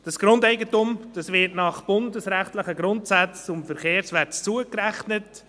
Das Grundeigentum wird nach bundesrechtlichen Grundsätzen zum Verkehrswert dazugerechnet.